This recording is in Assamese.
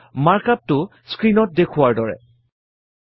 আৰু মাৰ্ক up টো স্ক্ৰীণত দেখুওৱা ধৰণৰ